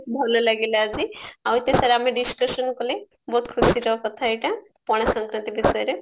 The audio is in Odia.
ବହୁତ ଭଲ ଲାଗିଲା ଆଜି ଆଉ ଏତେ ସାରା ଆମେ discussion କଲେ ବହୁତ ଖୁସିର କଥା ଏଇଟା ପଣା ଶଙ୍କରାନ୍ତି ବିଷୟରେ